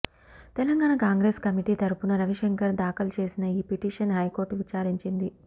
Telangana Congress committee తరఫున రవిశంకర్ దాఖలు చేసిన ఈ పిటిషన్ హైకోర్టు విచారించింది